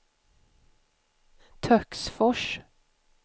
Töcksfors